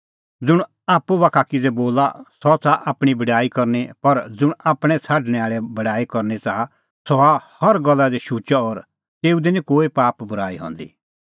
ज़ुंण आप्पू बाखा किज़ै बोला सह च़ाहा आपणीं बड़ाई करनी पर ज़ुंण आपणैं छ़ाडणैं आल़े बड़ाई च़ाहा करनी सह हआ हर गल्ला दी शुचअ और तेऊ दी निं कोई पाप बूराई हंदी